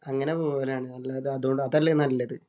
അങ്ങനെ പോവലാണ്. അല്ലാതെ അതുകൊണ്ട് അതല്ലേ നല്ലത്?